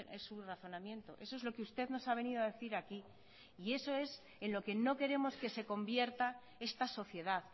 es su razonamiento eso es lo que usted nos ha venido a decir aquí y eso es en lo que no queremos que se convierta esta sociedad